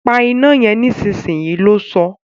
Pa iná yen nísinsìnyí! lo sọ́